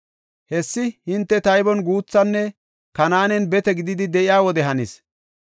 Hessi hinte taybon guuthanne Kanaanen bete gididi de7iya wode hannis.